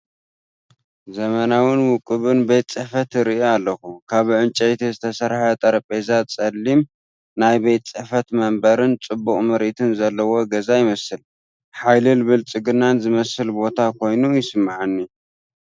ዘመናውን ውቁብን ቤት ጽሕፈት ይርኢ ኣለኹ። ካብ ዕንጨይቲ ዝተሰርሐ ጠረጴዛ፣ ጸሊም ናይ ቤት ጽሕፈት መንበርን ጽቡቕ ምርኢትን ዘለዎ ገዛ ይመስል፤ ሓይልን ብልጽግናን ዝመልአ ቦታ ኮይኑ ይስምዓኒ።